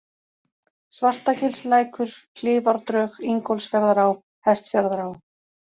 Svartagilslækur, Klifárdrög, Ingólfsfjarðará, Hestfjarðará